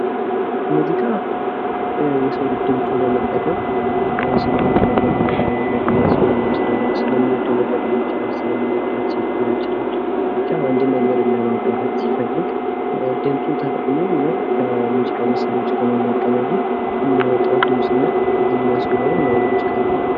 ሙዚቃ የሰው ልጅ ድምጹን በመጠቀም ስለ አንድ ነገር ለመግለጽ ወይም ስለሚወደው ነገር ሊሆን ይችላል። ስለሚወደው ሴት ሊሆን ይችላል ብቻ አንድ ነገርን ለማብራራት ሲፈልግ ድምጹን ተጠቅሞ እና ከሙዚቃ መሳሪያዎች ጋር ደግሞ በመቀናጀት የሚያወጣው ድምፅ እና ዜማ ሲኖረው ያ ሙዚቃ ይባላል።